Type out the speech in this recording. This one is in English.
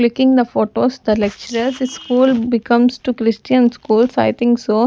Clicking the photos the lecturers school becomes to Christian schools I think so.